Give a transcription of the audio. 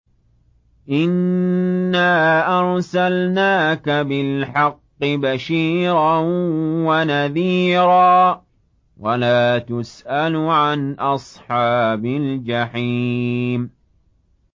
إِنَّا أَرْسَلْنَاكَ بِالْحَقِّ بَشِيرًا وَنَذِيرًا ۖ وَلَا تُسْأَلُ عَنْ أَصْحَابِ الْجَحِيمِ